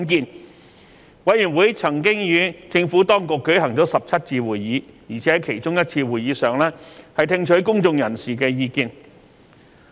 法案委員會曾與政府當局舉行了17次會議，在其中一次會議上更聽取了公眾人士的意見。